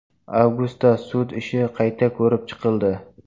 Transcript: Avgustda sud ishi qayta ko‘rib chiqildi.